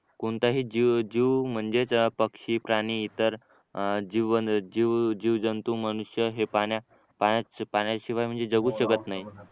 कोणताही जीव जीव म्हणजेच पक्षी प्राणी इतर जीव जीव जीव जंतू मनुष्य हे पाण्या पाण्या पाण्याशिवाय म्हणजे जगू शकत नाही